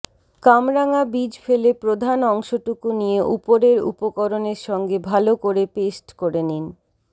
কামরাঙা বীজ ফেলে প্রধান অংশটুকু নিয়ে উপরের উপকরণের সঙ্গে ভালো করে পেস্ট করে নিন